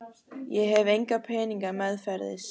Ég hef enga peninga meðferðis.